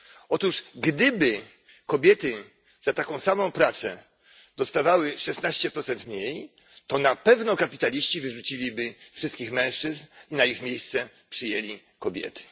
Otóż gdyby kobiety za taką samą pracę dostawały szesnaście procent mniej, to na pewno kapitaliści wyrzuciliby wszystkich mężczyzn i na ich miejsce przyjęli kobiety.